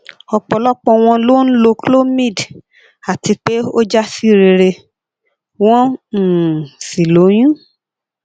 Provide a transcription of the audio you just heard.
ọpọlọpọ wọn ló ń lo clomid àti pé o ja si rere won um sí lóyún